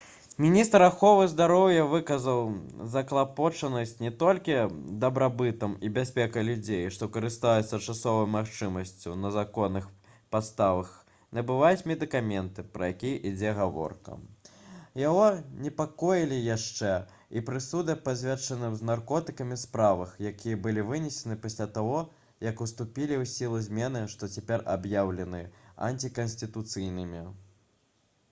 міністр аховы здароўя выказаў заклапочанасць не толькі дабрабытам і бяспекай людзей што карыстаюцца часовай магчымасцю на законных падставах набываць медыкаменты пра якія ідзе гаворка яго непакоілі яшчэ і прысуды па звязанымі з наркотыкамі справах якія былі вынесены пасля таго як уступілі ў сілу змены што цяпер аб'яўлены антыканстытуцыйнымі